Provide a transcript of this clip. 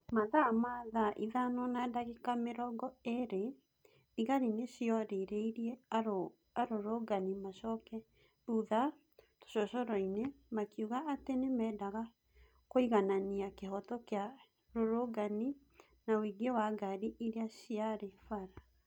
Mathaa na thaa ithano na ndagĩka mĩrongo ĩĩrĩ, thigari nĩcioririe arũrũngani macoke thutha tũcocoroinĩ, makiuga atĩ nĩmendaga kũiganania kĩhoto kĩa rũrũngani na ũingĩ wa ngari iria ciarĩ bara.